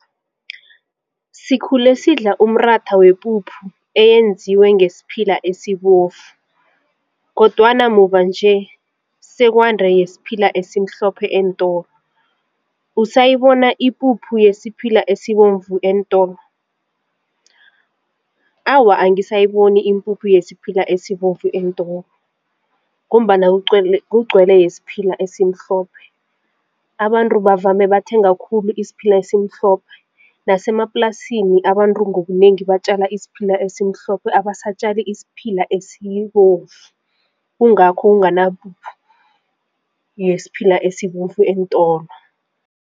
Sikhule sidla umratha wepuphu eyenziwe ngesiphila esibovu kodwana muva nje sekwande yesiphila esimhlophe eentolo. Usayibona ipuphu yesiphila esibovu eentolo? Awa, angisayiboni ipuphu yesiphila esibovu eentolo ngombana kugcwele yesiphila esimhlophe abantu bavame bathenga khulu isiphila esimhlophe nasemaplasini abantu ngobunengi batjala isiphila esimhlophe abasatjali isiphila esibovu, kungakho kunganapuphu yesiphila esibovu eentolo.